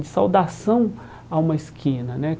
De saudação a uma esquina, né?